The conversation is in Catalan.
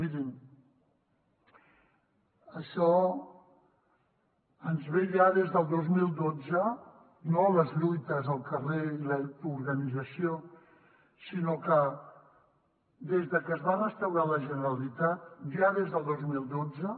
mirin això ens ve ja des del dos mil dotze no les lluites al carrer i l’autoorganització sinó que des que es va restaurar la generalitat ja des del dos mil dotze